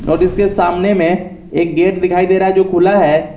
और इसके सामने में एक गेट दिखाई दे रहा है जो खुला है।